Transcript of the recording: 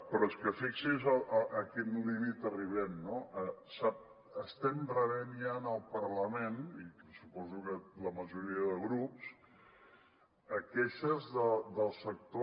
però és que fixi’s a quin límit arribem no estem rebent ja en el parlament i suposo que la majoria de grups queixes del sector